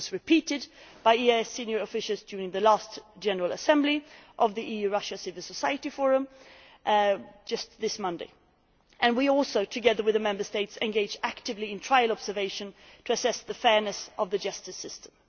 It was repeated by EEAS senior officials during the last general assembly of the EU Russia Civil Society Forum just this Monday and we also, together with the Member States, engage actively in trial observation to assess the fairness of the justice system.